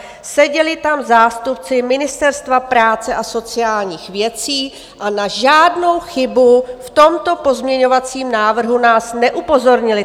Seděli tam zástupci Ministerstva práce a sociálních věcí a na žádnou chybu v tomto pozměňovacím návrhu nás neupozornili.